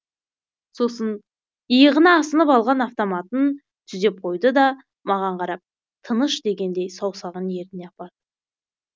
сосын иығына асынып алған автоматын түзеп қойды да маған қарап тыныш дегендей саусағын ерніне апарды